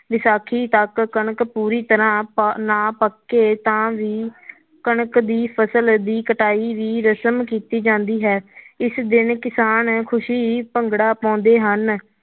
ਵਿਸਾਖੀ ਤੱਕ ਕਣਕ ਪੂਰੀ ਤਰ੍ਹਾਂ ਪ~ ਨਾ ਪੱਕੇ ਤਾਂ ਵੀ ਕਣਕ ਦੀ ਫਸਲ ਦੀ ਕਟਾਈ ਦੀ ਰਸ਼ਮ ਕੀਤੀ ਜਾਂਦੀ ਹੈ ਇਸ ਦਿਨ ਕਿਸਾਨ ਖ਼ੁਸ਼ੀ ਭੰਗੜਾ ਪਾਉਂਦੇ ਹਨ।